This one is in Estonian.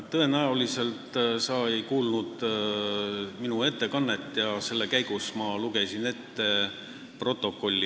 Tõenäoliselt sa ei kuulnud minu ettekannet, mille käigus ma lugesin ette protokolli.